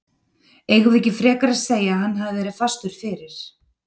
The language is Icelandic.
Eigum við ekki frekar að segja að hann hafi verið fastur fyrir?